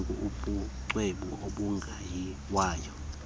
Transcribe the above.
ilungile ubucwebe obungayiwayo